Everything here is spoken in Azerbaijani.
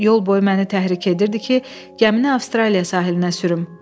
Yol boyu məni təhrik edirdi ki, gəmini Avstraliya sahilinə sürüm.